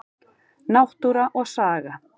Náttúra og saga.